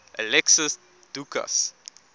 alexios doukas